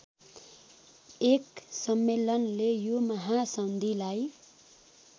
१ सम्मेलनले यो महासन्धिलाई